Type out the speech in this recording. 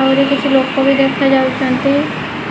ଆହୁରି କିଛି ଲୋକ ବି ଦେଖାଯାଉଛନ୍ତି